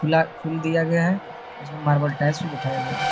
Full दिया गया है और इसमें मार्बल टाइल्स भी बैठाया गया है।